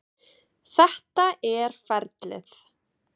Þetta er ferlið.